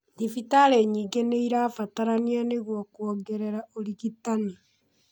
Thibitarĩ nyingĩ nĩ irabatarania nĩguo kũongerera ũrigitani.